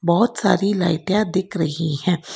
बहोत सारी लाइटिया दिख रही है।